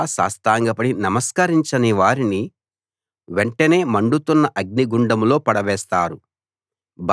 అలా సాష్టాంగపడి నమస్కరించని వారిని వెంటనే మండుతున్న అగ్నిగుండంలో పడవేస్తారు